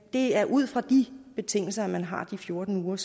det er ud fra de betingelser man har de fjorten uger